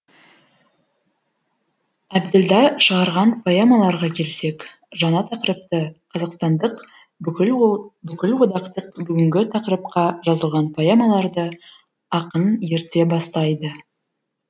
әбділда шығарған поэмаларға келсек жаңа тақырыпты қазақстандық бүкілодақтық бүгінгі тақырыпқа жазылған поэмаларды ақын ерте бастайды